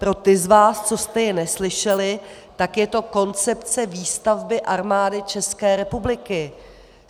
Pro ty z vás, co jste jej neslyšeli, tak je to Koncepce výstavby Armády České republiky.